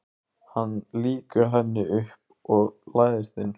Hann lýkur henni upp og læðist inn.